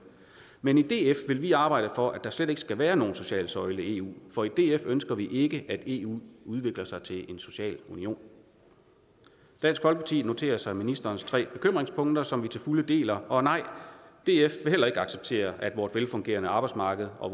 men i df vil vi arbejde for at der slet ikke skal være nogen social søjle i eu for i df ønsker vi ikke at eu udvikler sig til en social union dansk folkeparti noterer sig ministerens tre bekymringspunkter som vi til fulde deler og nej df vil heller ikke acceptere at vores velfungerende arbejdsmarked og